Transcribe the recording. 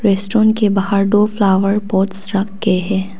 Restaurant के बाहर दो फ्लावर पॉट्स रखे हैं।